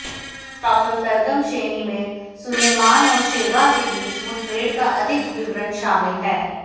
apocryphal Targum Sheni में सुलैमान और शेबा के बीच मुठभेड़ का अधिक विवरण शामिल है